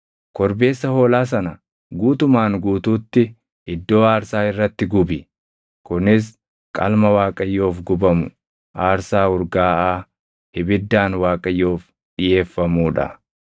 Korbeessa hoolaa sana guutumaan guutuutti iddoo aarsaa irratti gubi. Kunis qalma Waaqayyoof gubamu, aarsaa urgaaʼaa ibiddaan Waaqayyoof dhiʼeeffamuu dha.